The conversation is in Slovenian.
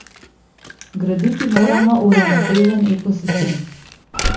Graditi moramo uravnotežen ekosistem.